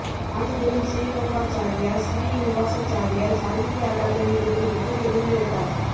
காஞ்சிபுரம் சிறீரங்காச்சாரியார் சிறிநிவாசாச்சாரியார் சாகித்திய அகாதமி விருது பெற்ற தெலுங்கு எழுத்தாளர்